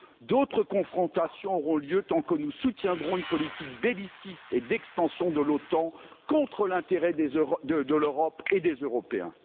D'autres confrontations auront lieu tant que nous soutiendrons une politique belliciste et d'extension de l'OTAN contre l'intérêt de l'Europe et des Européens.